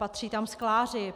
Patří tam skláři.